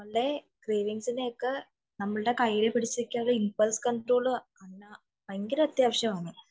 പിടിച്ചു നില്ക്കാതെ impulse control ഭയങ്കര അത്യാവശ്യമാണ്